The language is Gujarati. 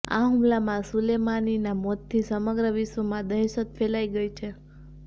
આ હુમલામાં સુલેમાનીના મોતથી સમગ્ર વિશ્વમાં દહેશત ફેલાઈ ગઈ છે